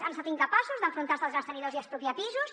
han estat incapaços d’enfrontar se als grans tenidors i expropiar pisos